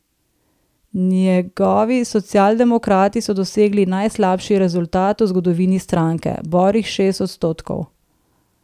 Njegovi socialdemokrati so dosegli najslabši rezultat v zgodovini stranke, borih šest odstotkov.